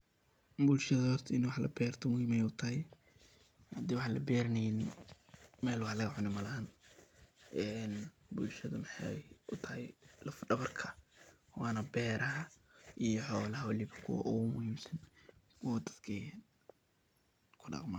Bulshada horta in wax laberto muhiim ay u tahay hadii wax laberaneynin mel wax lagacuna malahan ee bulshada maxay u tahay laf dabarka waana beeraha iyo xoolaha waliba kuwa ogu muhiimsan oo ay dadka ku daqmaan.